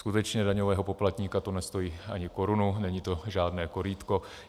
Skutečně daňového poplatníka to nestojí ani korunu, není to žádné korýtko.